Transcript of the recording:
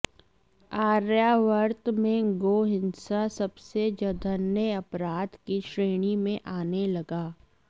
आर्यावर्त में गो हिंसा सबसे जधन्य अपराध की श्रेणी में आने लगा